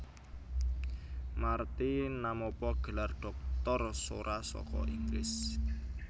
Marty namapa gelar dhoktor sora saka Inggris